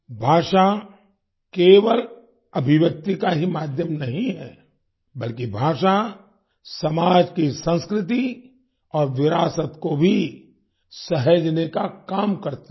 भाषा केवल अभिव्यक्ति का ही माध्यम नहीं है बल्कि भाषा समाज की संस्कृति और विरासत को भी सहेजने का काम करती है